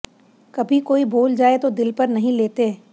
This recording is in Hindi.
कभी कोई बोल जाए तो दिल पर नहीं लेते